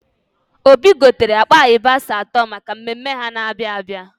Obi gotere akpa ịyabasị atọ maka mmemme ha na-abịa abịa